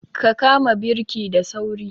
Ka kama birki da sauri!